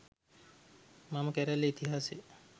මම කැරැල්ලේ ඉතිහාසය